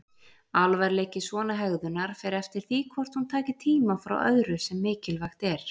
Alvarleiki svona hegðunar fer eftir því hvort hún taki tíma frá öðru sem mikilvægt er.